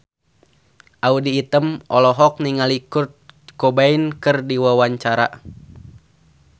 Audy Item olohok ningali Kurt Cobain keur diwawancara